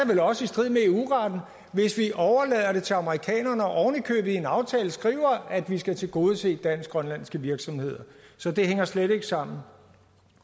vel også i strid med eu retten hvis vi overlader det til amerikanerne og en aftale skriver at vi skal tilgodese dansk grønlandske virksomheder så det hænger slet ikke sammen